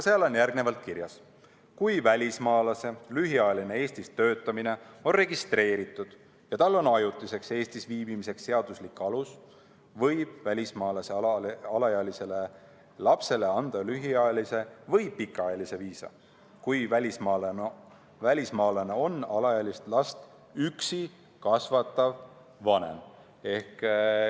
Seal on kirjas: "Kui välismaalase lühiajaline Eestis töötamine on registreeritud ja tal on ajutiseks Eestis viibimiseks seaduslik alus, võib välismaalase alaealisele lapsele anda lühiajalise või pikaajalise viisa, kui välismaalane on alaealist last üksi kasvatav vanem.